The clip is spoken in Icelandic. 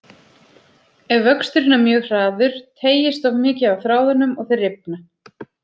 Ef vöxturinn er mjög hraður teygist of mikið á þráðunum og þeir rifna.